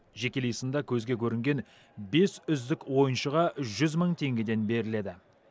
жекелей сында көзге көрінген бес үздік ойыншыға жүз мың теңгеден беріледі